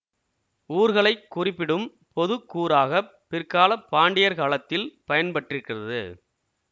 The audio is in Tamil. ஊர்களைக் குறிப்பிடும் பொது கூறாக பிற்காலப் பாண்டியர் காலத்தில் பயன் பட்டிருக்கிறது